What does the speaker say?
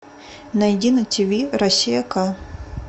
найди на тв россия к